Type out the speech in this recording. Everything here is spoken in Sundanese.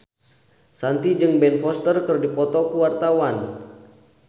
Shanti jeung Ben Foster keur dipoto ku wartawan